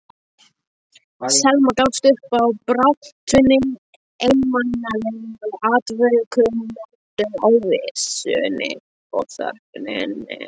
Selma gafst upp á baráttunni, einmanalegum andvökunóttum, óvissunni og þögninni.